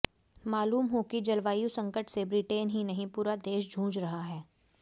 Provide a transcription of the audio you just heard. मालूम हो कि जलवायु संकट से ब्रिटेन ही नहीं पूरा देश जूझ रहा है